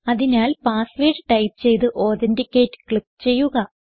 അതിനാൽ password type ചെയ്ത് authenticate click ചെയ്യുക